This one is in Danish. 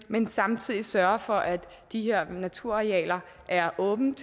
man samtidig sørger for at de her naturarealer er åbne